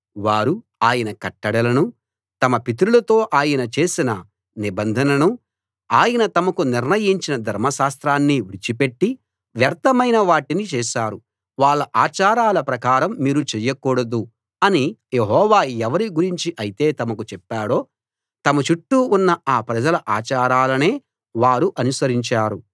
వారు ఆయన కట్టడలనూ తమ పితరులతో ఆయన చేసిన నిబంధననూ ఆయన తమకు నిర్ణయించిన ధర్మశాస్త్రాన్నీ విడిచి పెట్టి వ్యర్థమైన వాటిని చేశారు వాళ్ళ ఆచారాల ప్రకారం మీరు చెయ్యకూడదు అని యెహోవా ఎవరి గురించి అయితే తమకు చెప్పాడో తమ చుట్టూ ఉన్న ఆ ప్రజల ఆచారాలనే వారు అనుసరించారు